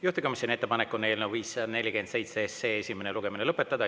Juhtivkomisjoni ettepanek on eelnõu 547 esimene lugemine lõpetada.